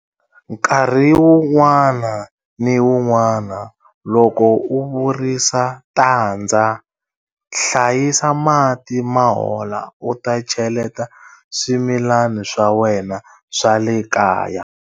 Nkarhi wun'wana ni wun'wana loko u virisa tandza, hlayisa mati ma hola u ta cheleta swimilani swa wena swa le kaya.